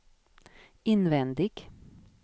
invändig